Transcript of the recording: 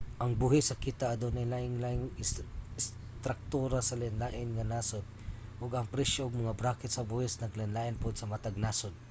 ang buhis sa kita adunay lain-lain nga istruktura sa lain-lain nga nasod ug ang presyo ug mga bracket sa buhis naglain-lain pod sa matag nasod